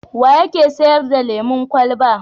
Wa yake sayar da lemon kwalaba?